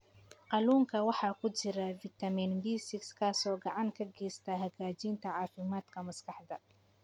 Kalluunka waxaa ku jira fitamiin B6 kaas oo gacan ka geysta hagaajinta caafimaadka maskaxda.